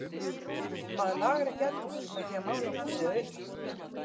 Maður lagar ekki eldhúsið með því að mála húsið að utan.